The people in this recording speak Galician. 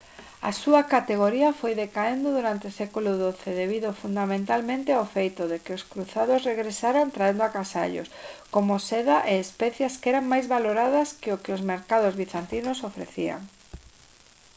a súa categoría foi decaendo durante o século xii debido fundamentalmente ao feito de que os cruzados regresaran traendo agasallos como seda e especias que eran máis valoradas que o que os mercados bizantinos ofrecían